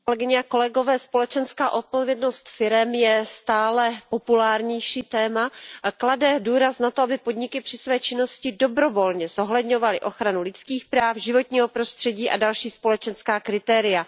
Pane předsedající, společenská odpovědnost firem je stále populárnější téma. Klade důraz na to, aby podniky při své činnosti dobrovolně zohledňovaly ochranu lidských práv, životního prostředí a další společenská kritéria.